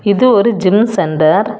இது ஒரு gym centre .